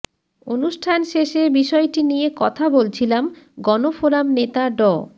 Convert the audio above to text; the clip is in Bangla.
অনুষ্ঠান শেষে বিষয়টি নিয়ে কথা বলছিলাম গণফোরাম নেতা ড